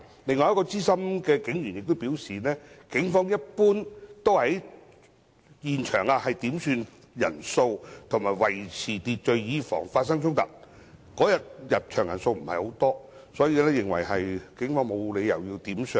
另一名資深警務人員亦表示，一般來說，警方會在現場點算人數及維持秩序，以防發生衝突，但當日入場人數不多，他認為警方沒有需要"點相"。